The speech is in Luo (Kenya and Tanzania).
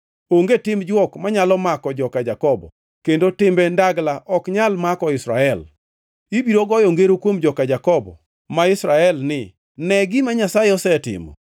Onge tim jwok manyalo mako joka Jakobo, kendo timbe ndagla ok nyal mako Israel. Ibiro goyo ngero kuom joka Jakobo ma Israel ni, ‘Ne gima Nyasaye osetimo!’